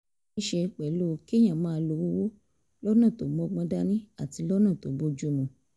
ní í ṣe pẹ̀lú kéèyàn máa lo owó lọ́nà tó mọ́gbọ́n dání àti lọ́nà tó bójú mu